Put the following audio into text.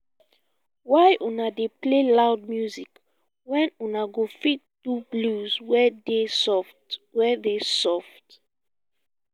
why una dey play loud music wen you go fit do blues wey dey soft wey dey soft